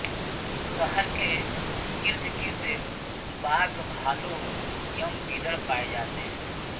शहर के इर्दगिर्द बाघ भालू एवं गीदड़ पाये जाते हैं